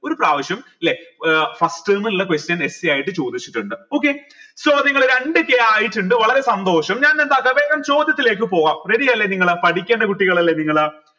ഒരു പ്രാവശ്യം ല്ലെ ഏർ first term ലെ question essay ആയിട്ട് ചോദിച്ചിട്ടിണ്ട് okay so നിങ്ങൾ രണ്ട് k ആയിട്ടിണ്ട് വളരെ സന്തോഷം ഞാൻ എന്താച്ചാ വേഗം ചോദ്യത്തിലേക്ക് പോവാം ready അല്ലെ നിങ്ങൾ പഠിക്കണ്ടെ കുട്ടികൾ അല്ലെ നിങ്ങൾ